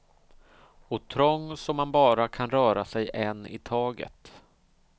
Och trång så man bara kan röra sig en i taget.